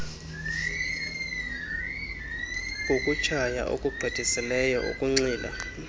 kukutshaya okugqithisileyo ukunxila